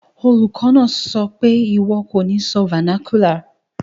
Olùkó náà sopé, "ìwọ ko ni sọ vernacular